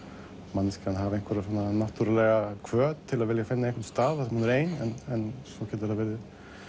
manneskjan hafi náttúrulega hvöt til að vilja finna einhvern stað þar sem hún er ein en svo getur það verið